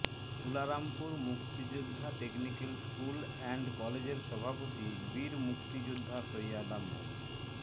তুলারামপুর মুক্তিযোদ্ধা technical school and কলেজের সভাপতি বীরমুক্তিযোদ্ধা সৈয়দা মো